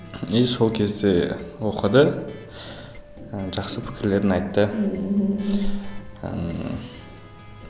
и сол кезде оқыды ы жақсы пікірлерін айтты мхм ыыы